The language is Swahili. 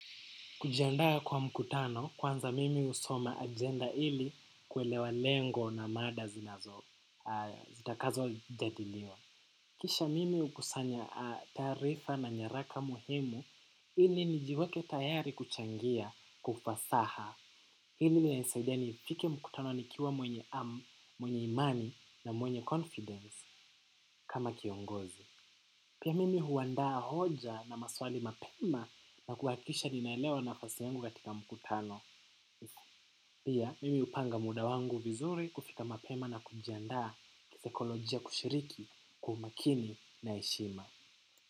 Kujiandaa kwa mkutano kwanza mimi husoma agenda ili kuelewa lengo na mada zinazo zitakazo jadiliwa. Kisha mimi hukusanya taarifa na nyaraka muhimu hili nijiweke tayari kuchangia kwa ufasaha. Hili inanisaidia nifike mkutano nikiwa mwenye imani na mwenye confidence kama kiongozi. Pia mimi huandaa hoja na maswali mapema na kuhakikisha ninaelewa nafasi yangu katika mkutano. Pia mimi hupanga muda wangu vizuri kufika mapema na kujiandaa kisaikolojia kushiriki kwa umakini na heshima.